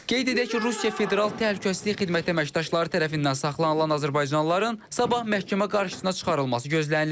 Qeyd edək ki, Rusiya Federal Təhlükəsizlik Xidməti əməkdaşları tərəfindən saxlanılan azərbaycanlıların sabah məhkəmə qarşısına çıxarılması gözlənilir.